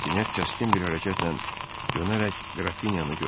Rastinyak kəskin bir hərəkətlə dönərək Qrafinyanı gördü.